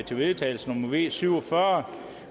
til vedtagelse nummer v syv og fyrre